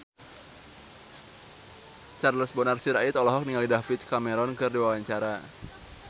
Charles Bonar Sirait olohok ningali David Cameron keur diwawancara